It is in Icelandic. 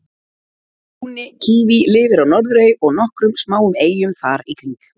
brúni kíví lifir á norðurey og nokkrum smáum eyjum þar í kring